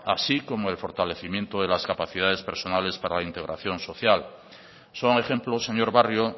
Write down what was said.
así como el fortalecimiento de las capacidades personales para la integración social son ejemplos señor barrio